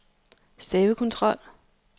stavekontrol